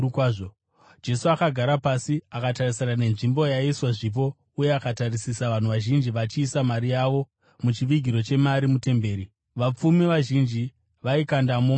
Jesu akagara pasi akatarisana nenzvimbo yaiiswa zvipo uye akatarisisa vanhu vazhinji vachiisa mari yavo muchivigiro chemari mutemberi. Vapfumi vazhinji vaikandamo mari zhinji.